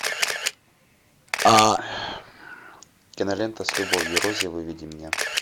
кинолента с любовью рози выведи мне